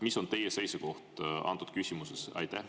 Mis on teie seisukoht antud küsimuses?